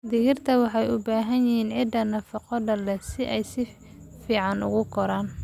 Digirta waxay u baahan yihiin ciid nafaqo leh si ay si fiican ugu koraan.